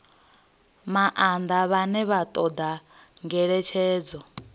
maanḓa vhane vha ṱoḓa ngeletshedzo